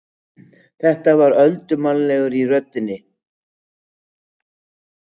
Hann var öldurmannlegur í röddinni þegar hann kvaddi, þreytulegur og allt að því beygður.